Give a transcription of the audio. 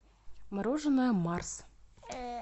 мороженое марс